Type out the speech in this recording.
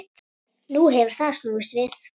Nú hefur það snúist við.